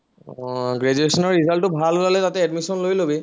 আহ graduation ৰ result টো ভাল হলে তাতে admission লৈ লবি